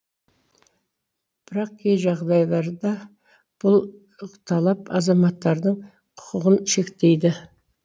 бірақ кей жағдайларда бұл талап азаматтардың құқығын шектейді